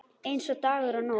Eins og dagur og nótt.